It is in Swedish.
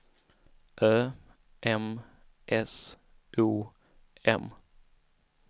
Ö M S O M